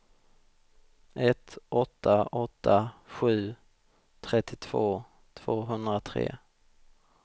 ett åtta åtta sju trettiotvå tvåhundratre